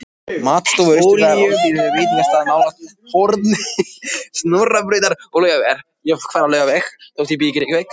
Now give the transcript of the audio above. Matstofu Austurbæjar, alþýðlegum veitingastað nálægt horni Snorrabrautar og Laugavegar.